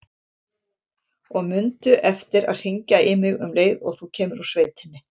Og mundu eftir að hringja í mig um leið og þú kemur úr sveitinni.